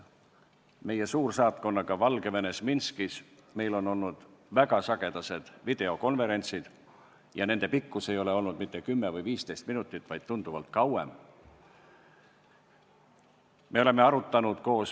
Meil on oma Valgevene suursaatkonnaga, mis asub Minskis, olnud väga sagedased videokonverentsid ja nende pikkus ei ole olnud mitte 10 või 15 minutit, vaid need on kestnud tunduvalt kauem.